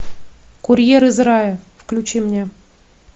курьер из рая включи мне